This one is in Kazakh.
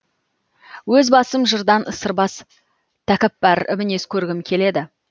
өз басым жырдан сырбаз такаппар мінез көргім келеді